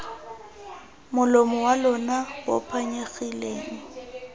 molomo wa lona bo phanyegileng